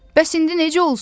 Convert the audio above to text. Bəs indi necə olsun?